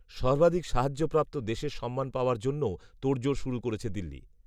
সর্বাধিক সাহায্যপ্রাপ্ত দেশের সম্মান পাওয়ার জন্যও তোড়জোড় শুরু করেছে দিল্লি